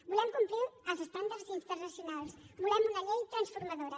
volem complir els estàndards internacionals volem una llei transformadora